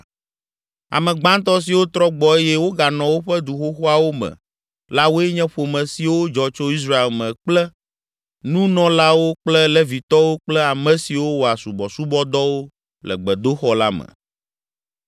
Ame gbãtɔ siwo trɔ gbɔ eye woganɔ woƒe du xoxoawo me la woe nye ƒome siwo dzɔ tso Israel me kple nunɔlawo kple Levitɔwo kple ame siwo wɔa subɔsubɔdɔwo le gbedoxɔ la me.